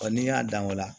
n'i y'a dan o la